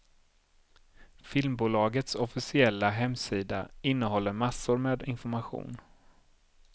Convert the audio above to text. Filmbolagets officiella hemsida innehåller massor med information.